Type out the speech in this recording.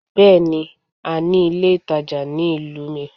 Bẹ́ẹ̀ni, a ní ilé ìtajà ní ìlú mi.